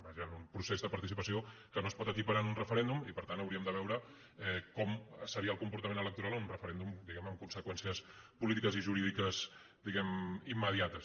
vaja en un procés de participació que no es pot equiparar amb un referèndum i per tant hau·ríem de veure com seria el comportament electoral en un referèndum diguem·ne amb conseqüències políti·ques i jurídiques immediates